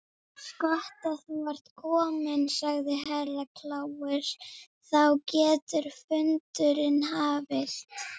Gott að þú ert kominn, sagði Herra Kláus, þá getur fundurinn hafist.